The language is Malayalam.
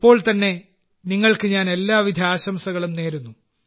ഇപ്പോൾതന്നെ നിങ്ങൾക്ക് ഞാൻ എല്ലാവിധ ആശംസകളും നേരുന്നു